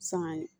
San